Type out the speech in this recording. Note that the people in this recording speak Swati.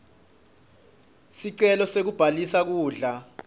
sicelo sekubhalisa kudla